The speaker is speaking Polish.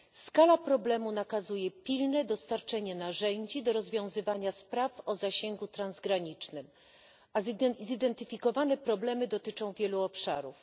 Skala problemu nakazuje pilne dostarczenie narzędzi do rozwiązywania spraw o zasięgu transgranicznym, a zidentyfikowane problemy dotyczą wielu obszarów.